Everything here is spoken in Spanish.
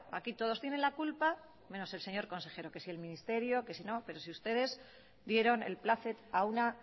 aquí todos tienen la culpa menos el señor consejero que si el ministerio que si no pero si ustedes dieron el plácet a una